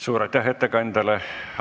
Suur aitäh ettekandjale!